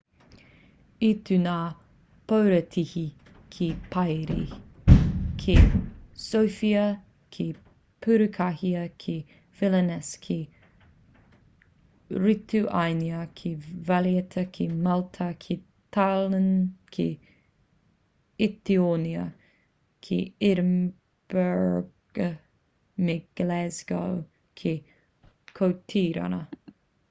i tū ngā porotēhi ki parī ki sofia ki purukāria ki vilnius ki rituānia ki valetta ki malta ki tallinn ki etitōnia ki edinburgh me glasgow ki kōtirana